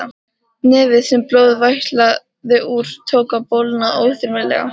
Nefið, sem blóð vætlaði úr, tók að bólgna óþyrmilega.